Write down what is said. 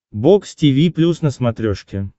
бокс тиви плюс на смотрешке